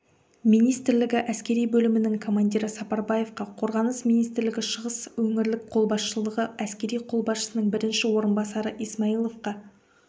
министрлігі әскери бөлімінің командирі сапарбаевқа қорғаныс министрлігі шығыс өңірлік қолбасшылығы әскері қолбасшысының бірінші орынбасары исмаиловқа